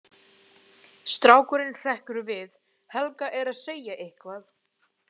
Strákurinn hrekkur við, Helga er að segja eitthvað.